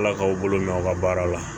Ala k'aw bolo mɛn aw ka baara la